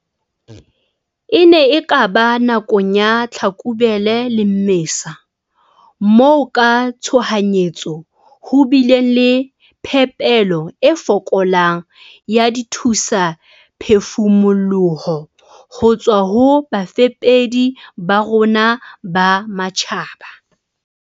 "E ne e ka ba nakong ya Tlhakubele le Mmesa moo ka tshohanyetso ho bileng le phepelo e fokolang ya dithusaphefumoloho ho tswa ho bafepedi ba rona ba matjhaba."